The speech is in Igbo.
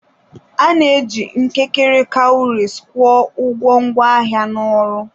A na-eji mkekere kawurisi kwụọ ụgwọ ngwaahịa na ọrụ.